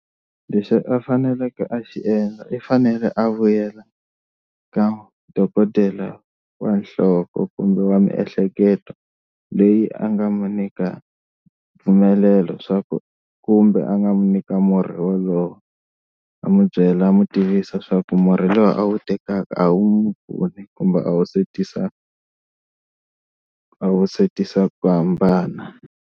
Leswi a faneleke a xi endla i fanele a vuyela ka dokodela wa nhloko kumbe wa miehleketo leyi a nga mu nyika mpfumelelo swa ku kumbe a nga n'wi nyika murhi wolowo a n'wi byela a n'wi tivisa leswaku murhi lowu a wu tekaka a wu kumbe a wu se tisa a wu se tisa ku hambana.